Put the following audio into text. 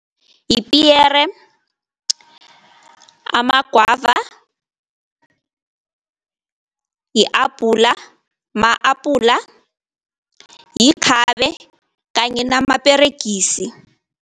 Yipiyere, amagwava, yi-abhula ma-apula, yikhabe kanye namaperegisi.